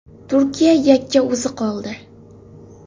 Turkiya yakka o‘zi qoldi.